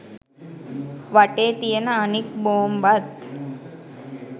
වටේ තියන අනෙක් බෝම්බත්